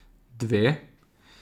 Dve?